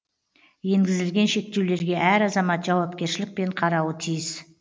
енгізілген шектеулерге әр азамат жауапкершілікпен қарауы тиіс